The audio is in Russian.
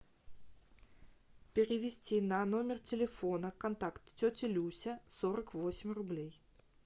перевести на номер телефона контакт тетя люся сорок восемь рублей